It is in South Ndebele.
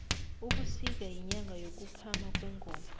ubusika yinyanga yokuphama kwengoma